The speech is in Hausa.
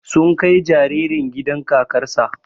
Sun kai jaririn gidan kakar sa